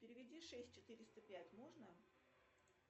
переведи шесть четыреста пять можно